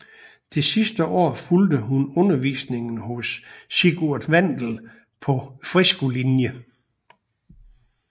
Det sidste år fulgte hun undervisningen hos Sigurd Wandel på freskolinjen